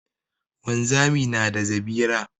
Wanzami na da zabira.